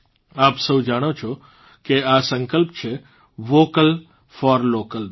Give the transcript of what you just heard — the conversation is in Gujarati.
આપ સૌ જાણો છો કે આ સંકલ્પ છે વોકલ ફોર લોકલ નો